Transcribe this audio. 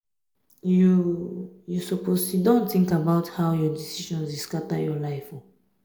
you you suppose siddon tink about how um your decisions um dey scatter your life. um